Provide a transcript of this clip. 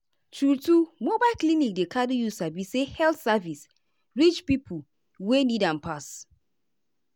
true-true mobile clinic dey carry you sabi say health service reach pipo wey need am pass.